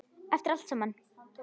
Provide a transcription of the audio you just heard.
Eftir allt saman.